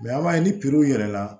an b'a ye ni w yɛlɛla